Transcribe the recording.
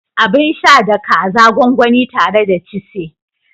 Abin sha da kaza gwangwani tare da chise